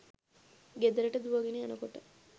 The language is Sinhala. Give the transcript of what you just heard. ගෙදරට දුවගෙන යනකොට